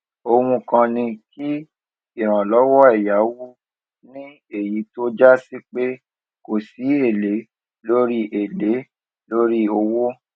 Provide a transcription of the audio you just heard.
ohun kan ni kí ìrànlówó èyáwó ní èyí tó jásí pé kò sí èlé lórí èlé lórí owó